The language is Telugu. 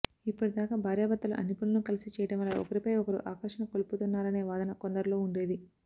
ఇప్పటిదాకా భార్యాభర్తలు అన్నిపనులూ కలిసి చేయడం వల్ల ఒకరిపై ఒకరు ఆకర్షణ కోల్పోతున్నారనేవాదన కొందరిలో ఉండేది